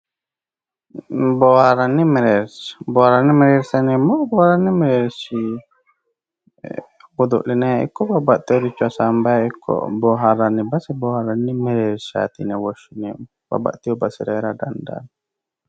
Booharanni mereersha, booharanni mereersha yineemmohu, booharanni mereershi godo'linanni ikko babbaxewore assinanni hasaanbayi ikko booharanni base booharanni mereershati yinne woshshineemmo, babbaxewo basera heera dandaano.